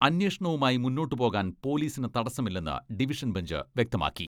അന്വേഷണവുമായി മുന്നോട്ട് പോകാൻ പൊലീസിന് തടസമില്ലെന്ന് ഡിവിഷൻ ബെഞ്ച് വ്യക്തമാക്കി.